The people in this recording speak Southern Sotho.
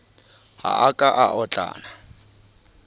ha a ka a otlana